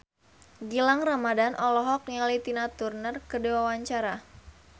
Gilang Ramadan olohok ningali Tina Turner keur diwawancara